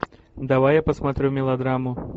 давай я посмотрю мелодраму